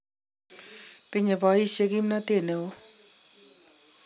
Tinyei boisiek kimnotet ne oo.